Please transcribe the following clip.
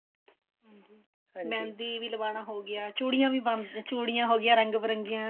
ਹਾਂਜੀ ਵੀ ਲਵਾਉਣਾ ਹੋ ਗਿਆ ਚੂੜੀਆਂ ਵੀ ਚੂੜੀਆਂ ਹੋਗੀਆਂ ਰੰਗ ਬਿਰੰਗੀਆਂ